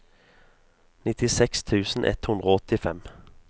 nittiseks tusen ett hundre og åttifem